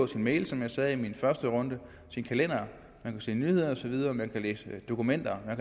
sine mail som jeg sagde i første runde sin kalender man kan se nyheder nyheder man kan læse dokumenter man